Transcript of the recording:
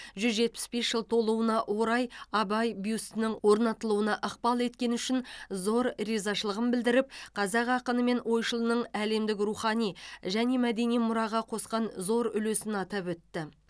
жүз жетпіс бес жыл толуына орай абай бюстінің орнатылуына ықпал еткені үшін зор ризашылығын білдіріп қазақ ақыны мен ойшылының әлемдік рухани және мәдени мұраға қосқан зор үлесін атап өтті